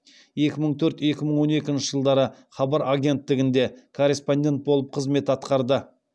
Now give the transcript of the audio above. екі мың төрт екі мың он екінші жылдары хабар агенттігінде корреспондент болып қызмет атқарды